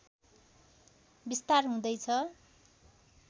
विस्तार हुँदैछ